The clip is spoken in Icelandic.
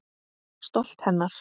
Stolt hennar.